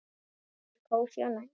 Sú var kósí og næs.